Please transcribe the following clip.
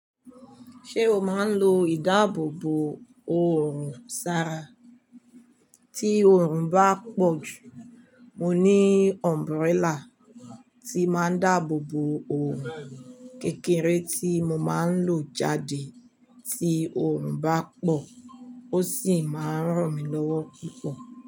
Ṣé o máa ń lo ìdáàbòbò òòrùn sara? Tí òòrùn bá pọ̀ jù, mo ní umbrella tí máa ń dáàbòbo òòrùn. Kékèré tí mo máa ń lò jáde tí òòrùn bá pọ̀, ó sì máa ń ràn mí lọ́wọ́ púpọ̀.